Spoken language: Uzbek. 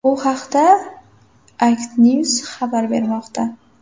Bu haqda Ictnews xabar bermoqda .